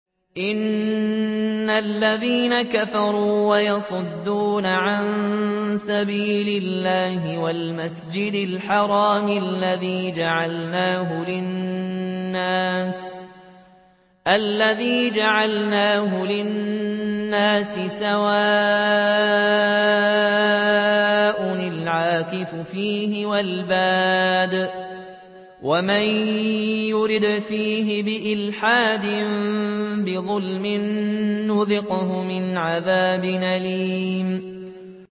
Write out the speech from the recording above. إِنَّ الَّذِينَ كَفَرُوا وَيَصُدُّونَ عَن سَبِيلِ اللَّهِ وَالْمَسْجِدِ الْحَرَامِ الَّذِي جَعَلْنَاهُ لِلنَّاسِ سَوَاءً الْعَاكِفُ فِيهِ وَالْبَادِ ۚ وَمَن يُرِدْ فِيهِ بِإِلْحَادٍ بِظُلْمٍ نُّذِقْهُ مِنْ عَذَابٍ أَلِيمٍ